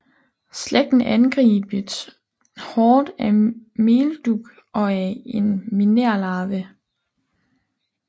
Slægten angribes hårdt af meldug og af en minérlarve